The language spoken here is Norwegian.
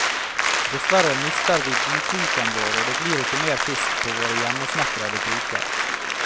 Dessverre mister vi godkroken vår og det blir ikke mer fisk på våre hjemmesnekrete kroker.